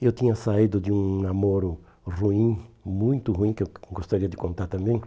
Eu tinha saído de um namoro ruim, muito ruim, que eu gostaria de contar também.